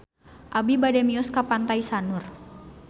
Abi bade mios ka Pantai Sanur